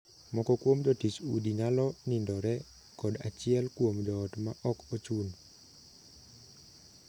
Moko kuom jotich udi nyalo nindore kod achiel kuom joot ma ok ochun.